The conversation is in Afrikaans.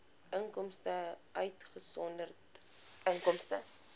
inkomste uitgesonderd inkomste